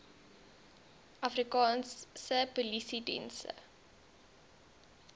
afrikaanse polisiediens se